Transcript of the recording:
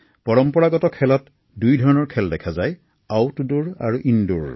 পৰম্পৰাগত ক্ৰীড়াত দুই ধৰণৰ খেল দেখা যায়ইনডৰ আৰু আউটডৰ